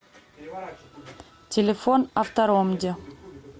телефон авторомди